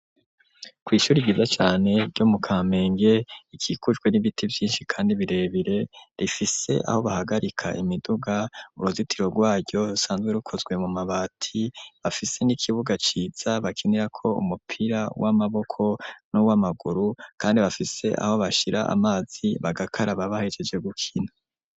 Kw'ishuri ryiza cane ryo mu Kamenge rikikujwe n'ibiti vyinshi kandi birebire, rifise aho bahagarika imiduga, uruzitiro rwaryo rusanzwe rukozwe mu mabati, bafise n'ikibuga ciza bakinirako umupira w'amaboko n'uwamaguru, kandi bafise aho bashira amazi bagakaraba bahejeje gukina.